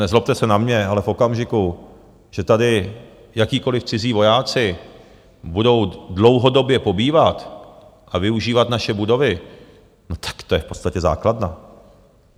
Nezlobte se na mě, ale v okamžiku, že tady jakýkoliv cizí vojáci budou dlouhodobě pobývat a využívat naše budovy, no tak to je v podstatě základna.